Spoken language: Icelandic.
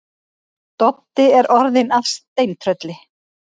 Doddi er orðinn að steintrölli.